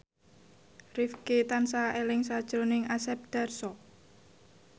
Rifqi tansah eling sakjroning Asep Darso